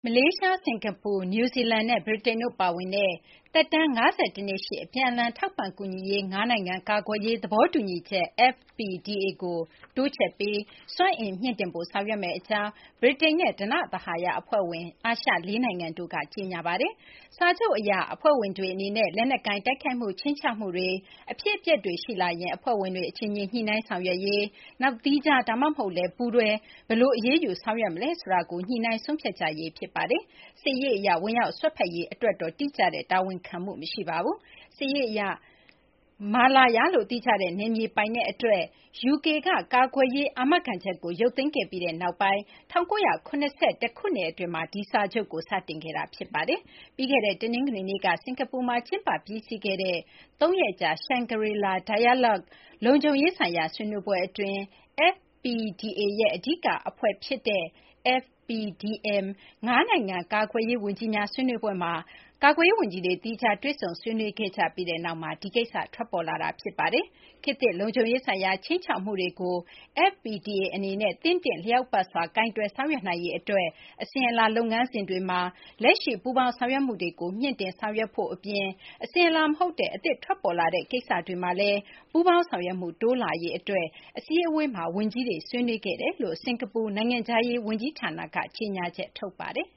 မလေးရှား၊ စကာၤပူ၊ နယူးဇီလန်နဲ့ ဗြိတိန်တို့ ပါဝင်တဲ့ သက်တမ်း ၅၁ နှစ်ရှိ အပြန်အလှန် ထောက်ပံ့ကူညီရေး ၅ နိုင်ငံ ကာကွယ်ရေး သဘောတူညီချက် FPDA ကို တိုးချဲ့ပြီး စွမ်းအင် မြှင့်တင်ဖို့ ဆောင်ရွက်မယ့် အကြောင်း ဗြိတိန်နဲ့ ဓနသဟာရ အဖွဲ့ဝင် အာရှ ၄ နိုင်ငံတို့ဟာ ကြေညာပါတယ်။ စာချုပ်အရ FPDA အဖွဲ့ဝင်တွေ အနေနဲ့ လက်နက်ကိုင် တိုက်ခိုက်မှု ခြိမ်းခြောက်မှုတွေ၊ အဖြစ်အပျက်တွေ ရှိလာရင် အဖွဲ့ဝင်တွေ အချင်းချင်း ညှိနှိုင်းဆောင်ရွက်ရေး၊ နောက် သီးခြား ဒါမှမဟုတ်လည်း ပူးတွဲ ဘယ်လို အရေးယူ ဆောင်ရွက်မလဲ ဆိုတာကို ညှိနှိုင်းဆုံးဖြတ်ကြရေး ဖြစ်ပါတယ်။ စစ်ရေး အရ ဝင်ရောက်စွက်ဖက်ရေး အတွက်တော့ တိကျတဲ့ တာဝန်ခံမှု မရှိပါဘူး။ စစ်ရေး အရ ကြားဝင် ဆောင်ရွက်ရေး တိကျတဲ့ တာဝန်တော့ မပါရှိပါဘူး။ Malaya လို့ သိကြတဲ့ နယ်မြေ ပိုင်နက် အတွက် UK က ကာကွယ်ရေး အာမခံချက်ကို ရုပ်သိမ်းခဲ့ပြီးနောက်ပိုင်း ၁၉၇၁ ခုနှစ် အတွင်းမှာ ဒီစာချုပ်ကို စတင်ခဲ့တာ ဖြစ်ပါတယ်။ ပြီးခဲ့တဲ့ တနင်္ဂနွေနေ့က စကာၤပူမှာ ကျင်းပ ပြီးစီးခဲ့တဲ့ ၃ ရက်ကြာ Shangri-La Dialogue လုံခြုံရေးဆိုင်ရာ ဆွေးနွေးပွဲ အတွင်း FPDA ရဲ့ အဓိက အဖွဲ့ဖြစ်တဲ့ FPDM ၅ နိုင်ငံ ကာကွယ်ကွယ်ရေး ဝန်ကြီးများ ဆွေးနွေးပွဲမှာ ကာကွယ်ရေး ဝန်ကြီးတွေ သီးခြား တွေ့ဆုံဆွေးနွေးခဲ့ကြပြီးနောက်မှာ ဒီကိစ္စ ထွက်ပေါ်လာတာပါ။ ခေတ်သစ် လုံခြုံရေးဆိုင်ရာ ခြိမ်းခြောက်မှုတွေကို FPDA အနေနဲ့ သင့်တင့်လျောက်ပတ်စွာ ကိုင်တွယ်ဆောင်ရွက်နိုင်ရေး အတွက် အစဉ်အလာ လုပ်ငန်းစဉ်တွေမှာ လက်ရှိ ပူးပေါင်းဆောင်ရွက်မှုတွေကို မြှင့်တင်ဆောင်ရွက်ဖို့ အပြင် အစဉ်အလာ မဟုတ်တဲ့ အသစ်ထွက်ပေါ်လာတဲ့ ကိစ္စတွေမှာလည်း ပူးပေါင်းဆောင်ရွက်မှု တိုးလာရေး အတွက် FDMM အစည်းအဝေးမှာ ဝန်ကြီးတွေ ဆွေးနွေးခဲ့ကြောင်း စကာၤပူ နိုင်ငံခြားရေး ဝန်ကြီးဌာနက ကြေညာချက် ထုတ်ပါတယ်။